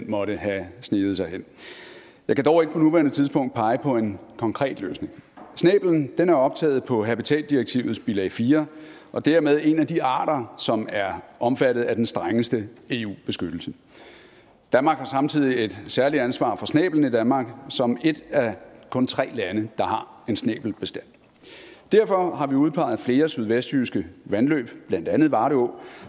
måtte have sneget sig hen jeg kan dog ikke på nuværende tidspunkt pege på en konkret løsning snæblen er optaget på habitatdirektivets bilag fire og dermed en af de arter som er omfattet af den strengeste eu beskyttelse danmark har samtidig et særligt ansvar for snæblen i danmark som et af kun tre lande der har en snæbelbestand derfor har vi udpeget flere sydvestjyske vandløb blandt andet varde å